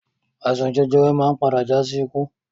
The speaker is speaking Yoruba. Àìsàn jẹjẹrẹ máa ń padà já sí ikú